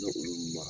olu ma